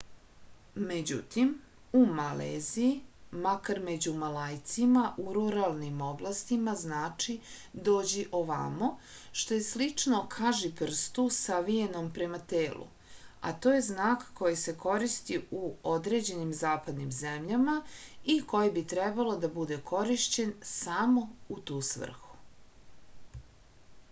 međutim u maleziji makar među malajcima u ruralnim oblastima znači dođi ovamo što je slično kažiprstu savijenom prema telu a to je znak koji se koristi u određenim zapadnim zemljama i koji bi trebalo da bude korišćen samo u tu svrhu